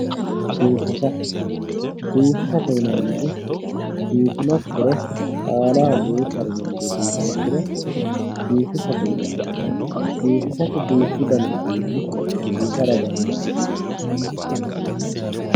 biifisa biifisate yinanniti biifinokkire aanaho duuchare lende biifinsiro biifisate yinanni biifisate duuchu dani uduunni hasiisara dandaanno.